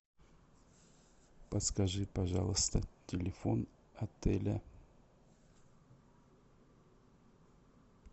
подскажи пожалуйста телефон отеля